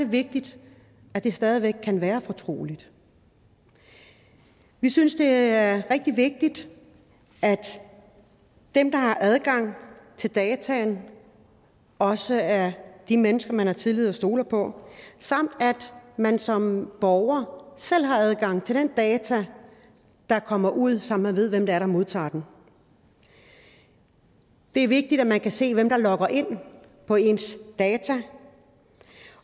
vigtigt at det stadig væk kan være fortroligt vi synes det er rigtig vigtigt at dem der har adgang til dataene også er de mennesker man har tillid til og stoler på samt at man som borger selv har adgang til de data der kommer ud så man ved hvem der modtager dem det er vigtigt at man kan se hvem der logger ind på ens data